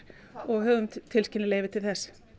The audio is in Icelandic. og höfum tilskilin leyfi til þess